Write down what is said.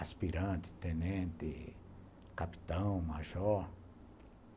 Aspirante, tenente, capitão, major.